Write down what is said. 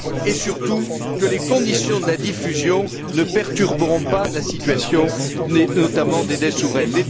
et surtout que les conditions de la diffusion ne perturberont pas la situation, notamment des dettes souveraines.